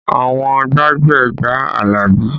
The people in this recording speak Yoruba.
Àwọn gbájúẹ̀ gba Alabi